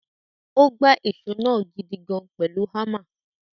Ó gbá ìṣó náà gidigan pẹ̀lú hámà.